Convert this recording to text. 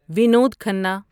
Vinod Khanna